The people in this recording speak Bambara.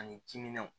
Ani timinanw